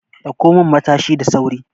Dauko min Matashi da sauri!